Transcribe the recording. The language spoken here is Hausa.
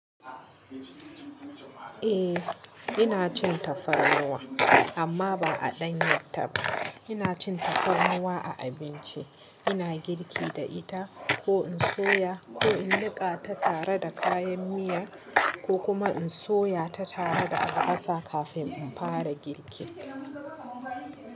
Eh ina cin tafarnuwa amma ba a ɗanyarta ba. Ina cin tafarnuwa a abinci. Ina girki da ita ko in soya ko in niƙa ta tare da kayan miya ko kuma in soya ta tare da albasa kafin in fara girki.